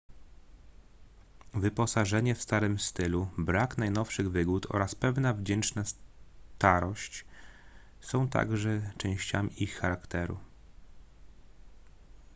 wyposażenie w starym stylu brak najnowszych wygód oraz pewna wdzięczna starość są także częściami ich charakteru